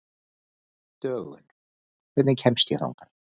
Dögun, hvernig kemst ég þangað?